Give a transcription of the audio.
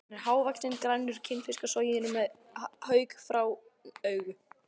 Hann er hávaxinn, grannur, kinnfiskasoginn og með haukfrán augu.